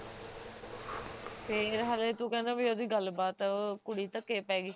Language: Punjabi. ਫੇਰ ਹੱਲੇ ਤੂੰ ਕਹਿੰਦਾ ਬਹਿ ਓਹਦੀ ਗੱਲ ਬਾਤ ਹੈ ਉਹ ਕੁੜੀ ਧੱਕੇ ਪੈ ਗਈ